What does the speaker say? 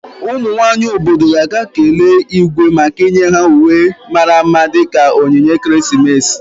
Ụmụ nwanyị obodo ga-aga kelee Igwe maka inye ha uwe mara mma dị ka onyinye ekeresimesi.